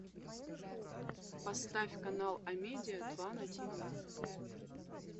поставь канал амедиа два на тв